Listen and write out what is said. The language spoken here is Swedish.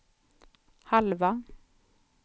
halva